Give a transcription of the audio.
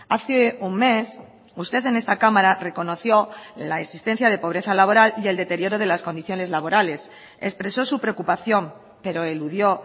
hace un mes usted en esta cámara reconoció la existencia de pobreza laboral y el deterioro de las condiciones laborales expresó su preocupación pero eludió